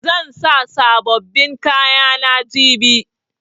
Zan sa sabobbin kayana jibi.